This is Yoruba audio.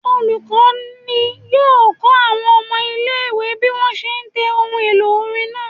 Olukọni yọọ kọ awọn ọmọ ile-iwe bi wọn ṣe le tẹ ohún-elo orín naa